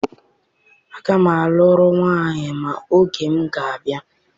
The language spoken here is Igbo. Aga m alụrụ nwanyị ma oge m ga-abịa.